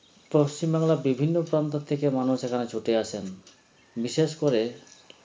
পশ্চিমবাংলার বিভিন্ন প্রান্তর থেকে মানুষেরা ছুটে আসেন বিশেষ করে